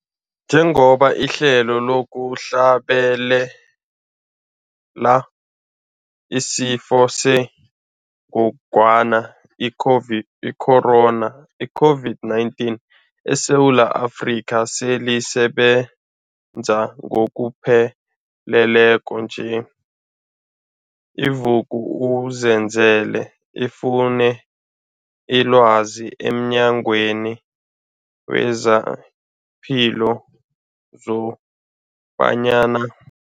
Njengoba ihlelo lokuhlabela isiFo sengogwana i-COVID, i-Corona, i-COVID-19, eSewula Afrika selisebenza ngokupheleleko nje, i-Vuk'uzenzele ifune ilwazi emNyangweni wezePilo kobanyana.